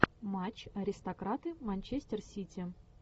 матч аристократы манчестер сити